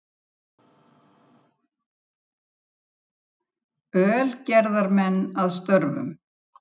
Ölgerðarmenn að störfum.